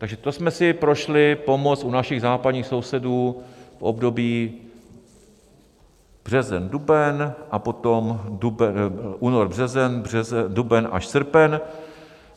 Takže to jsme si prošli pomoc u našich západních sousedů v období březen, duben a potom únor, březen, duben až srpen (?).